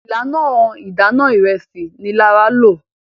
ìlànà Idana Ìrẹsí ní Lara ló.